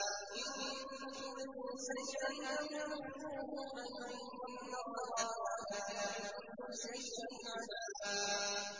إِن تُبْدُوا شَيْئًا أَوْ تُخْفُوهُ فَإِنَّ اللَّهَ كَانَ بِكُلِّ شَيْءٍ عَلِيمًا